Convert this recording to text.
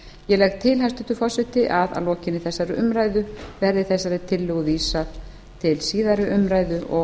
ég legg til hæstvirtur forseti að að lokinni þessari umræðu verði þessari tillögu vísað til síðari umræðu og